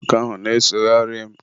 nwoke ahụ na-esogharị m.